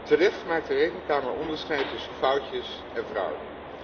Terecht maakt de Rekenkamer onderscheid tussen foutjes en fraude.